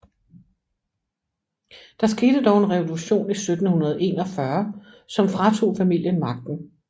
Der skete dog en revolution 1741 som fratog familien magten